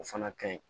O fana kaɲi